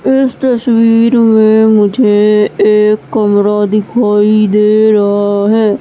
इस तस्वीर में मुझे एक कमरा दिखाई दे रहा हैं।